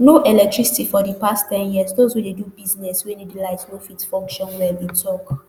no electricity for di past ten years those wey dey do business wey need light no fit function well e tok